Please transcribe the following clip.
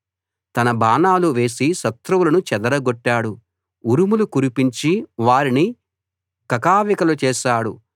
తన బాణాలు వేసి శత్రువులను చెదరగొట్టాడు ఉరుములు కురిపించి వారిని కకావికలు చేశాడు